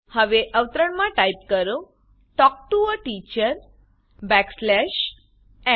હવે અવતરણમાં ટાઈપ કરો talk to a teacher backslash n